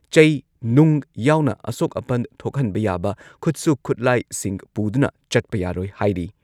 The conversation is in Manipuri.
ꯑꯊꯤꯡꯕ ꯑꯁꯤ ꯂꯩꯔꯤꯉꯩ ꯃꯅꯨꯡꯗ ꯃꯤ ꯃꯉꯥ ꯅꯠꯇ꯭ꯔꯒ ꯃꯉꯥꯗꯒꯤ ꯍꯦꯟꯅ ꯄꯨꯟꯕ